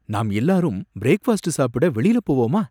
நாம் எல்லாரும் பிரேக்ஃபாஸ்ட் சாப்பிட வெளில போவோமா?